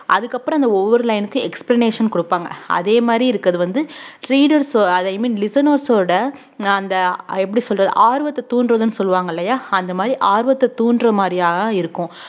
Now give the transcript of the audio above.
அதுக்கப்புறம் அந்த ஒவ்வொரு line க்கும் explanation குடுப்பாங்க அதே மாரி இருக்கிறது வந்து readers உ listeners ஓட அந்த எப்படி சொல்றது ஆர்வத்தை தூண்டுறதுன்னு சொல்வாங்க இல்லையா அந்த மாதிரி ஆர்வத்த தூண்டுற மாதிரியா இருக்கும்